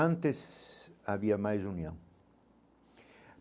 Antes, havia mais união.